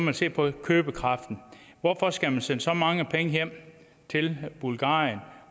vi se på købekraften hvorfor skal de sende så mange penge hjem til bulgarien